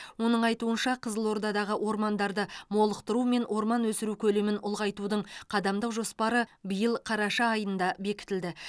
оның айтуынша қызылордадағы ормандарды молықтыру мен орман өсіру көлемін ұлғайтудың қадамдық жоспары биыл қараша айында бекітілді